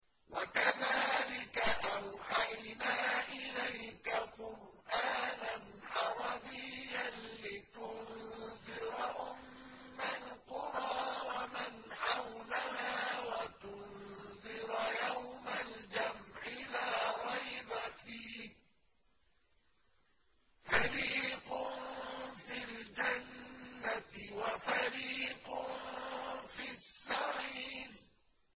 وَكَذَٰلِكَ أَوْحَيْنَا إِلَيْكَ قُرْآنًا عَرَبِيًّا لِّتُنذِرَ أُمَّ الْقُرَىٰ وَمَنْ حَوْلَهَا وَتُنذِرَ يَوْمَ الْجَمْعِ لَا رَيْبَ فِيهِ ۚ فَرِيقٌ فِي الْجَنَّةِ وَفَرِيقٌ فِي السَّعِيرِ